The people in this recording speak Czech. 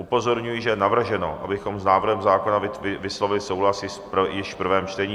Upozorňuji, že je navrženo, abychom s návrhem zákona vyslovili souhlas již v prvém čtení.